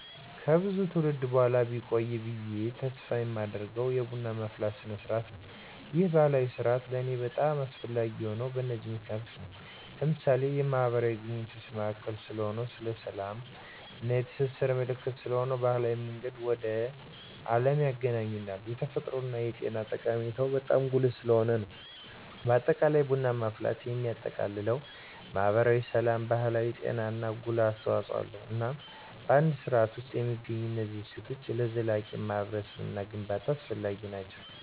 ከብዙ ትውልድ በኋላ ቢቆይ ብየ ተስፍ የማደርገው የቡና ማፍላት ስርዓት ነው። ይህ ባህላዊ ስርአት ለኔ በጣም አስፈላጊ የሆነው በነዚህ ምክንያቶች ነው። ለምሳሌ፦ የማህበራዊ ግንኙነት ማዕከል ስለሆነ፣ የስላም እና የትስስር ምልክት ስለሆነ፣ የባህል መንገድ ወደ አለም ያግናኘናል፣ የተፈጥሮ እና የጤና ጠቀሜታው በጣም ጉልህ ስለሆነ ነው። በአጠቃላይ ቡና ማፍላት የሚያጠቃልለው ማህበራዊ፣ ስላም፣ ባህልና ጤና ላይ ጉልህ አስተዋጽኦ አለው። እናም በአንድ ስርዓት ውስጥ የሚገኙት እነዚህ እሴቶች ለዘላቂ ማህበረሰብ ግንባታ አስፈላጊ ናቸው።